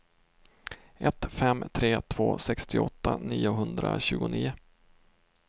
ett fem tre två sextioåtta niohundratjugonio